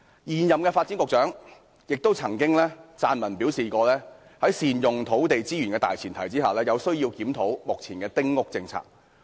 現任發展局局長曾撰文表示，在善用土地資源的大前提下，有需要檢討丁屋政策。